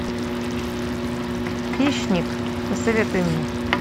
хищник посоветуй мне